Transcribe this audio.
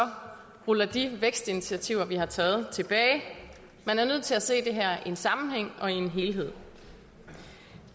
ruller de vækstinitiativer vi har taget tilbage man er nødt til at se det her i en sammenhæng og i en helhed